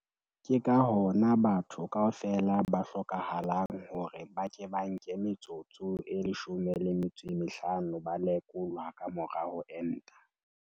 Ke ka hona batho kaofela ho hlokahalang hore ba ke ba nke metsotso e 15 ba lekolwa ka mora ho enta.